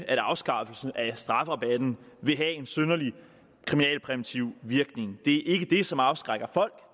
at en afskaffelse af strafrabatten vil have en synderlig kriminalpræventiv virkning det er ikke det som afskrækker folk